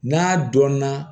N'a dɔn na